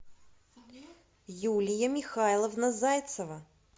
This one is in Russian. юлия михайловна зайцева